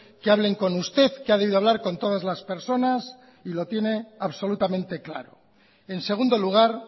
que hablen con usted que ha debido hablar con todas las personas y lo tiene absolutamente claro en segundo lugar